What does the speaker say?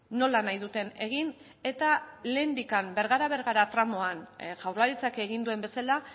nola nahi duten egin eta lehendik bergara bergara tramoan jaurlaritzak egin duen bezala